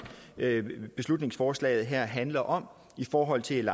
beslutningsforslaget her handler om i forhold til